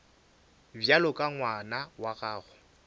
bjalo ka ngwana wa gago